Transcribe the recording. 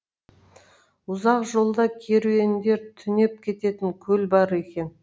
ұзақ жолда керуендер түнеп кететін көл бар екен